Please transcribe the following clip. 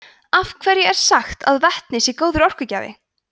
af hverju er sagt að vetni sé góður orkugjafi